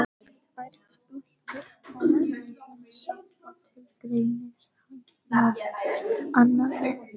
Tvær stúlkur koma í heimsókn og tilgreinir hann nafn annarrar.